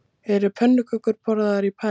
Eru pönnukökur borðaðar í París